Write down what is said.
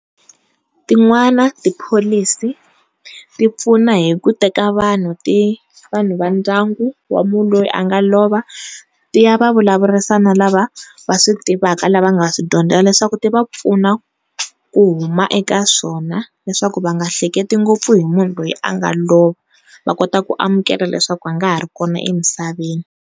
Tin'wani tipholisi ti pfuna hi ku teka vanhu ti vanhu va ndyangu wa munhu loyi a nga lova ti ya va vulavurisa na lava va swi tivaka lava nga swi dyondzela leswaku ti va pfuna ku huma eka swona leswaku va nga hleketi ngopfu hi munhu loyi a nga lova va kota ku amukela leswaku a nga ha ri kona emisaveni.